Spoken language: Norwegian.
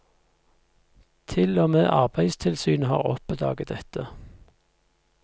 Til og med arbeidstilsynet har oppdaget dette.